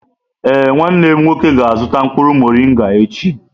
Ee, nwanne m nwoke ga-azụta mkpụrụ morịnga echi.